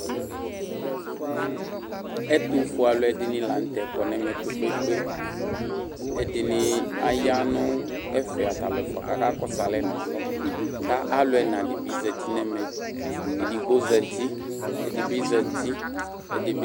Ɛtufue aluɛdini la nu tɛ kɔ nu ɛmɛ kpekpekpe ɛdini ya nu ɛfɛ atalu ɛfua ku akakɔsu alɛ nu alɔ ku alu ɛna dibi zati nɛmɛ edigbo azati ɛdini bi zati ɛdi bi